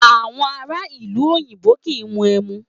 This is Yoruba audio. Awọn ara ilu oyinbo kii mu emu